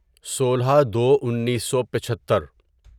سولہ دو انیسو پچھتر